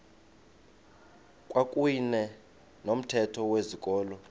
kwakuyne nomthetho wezikolo